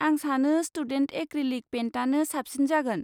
आं सानो student acrylic पेइन्टआनो साबसिन जागोन।